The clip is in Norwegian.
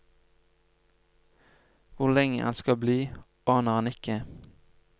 Hvor lenge han skal bli, aner han ikke.